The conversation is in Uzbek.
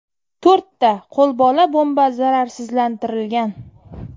To‘rtta qo‘lbola bomba zararsizlantirilgan.